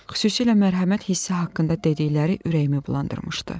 Xüsusilə mərhəmət hissi haqqında dedikləri ürəyimi bulandırmışdı.